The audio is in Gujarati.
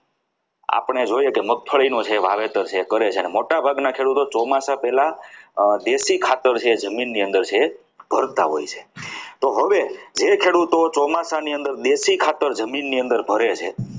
આપણે જોઈએ છીએ કે મગફળીનું છે એ વાવેતર કરે છે જ્યારે મોટાભાગના ખેડૂતો ચોમાસા પહેલા દેશી ખાતર છે જે જમીનની અંદર ભરતા હોય છે તો હવે જે ખેડૂતો ચોમાસાની અંદર દેશી ખાતર જમીનની અંદર ભરે છે.